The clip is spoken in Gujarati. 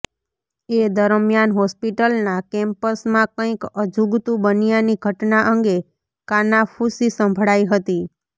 એ દરમિયાન હોસ્પિટલના કેમ્પસમાં કંઈક અજુગતુ બન્યાની ઘટના અંગે કાનાફુસી સંભળાઈ હતી